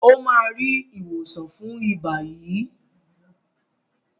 o má rí ìwòsàn fún iba yí.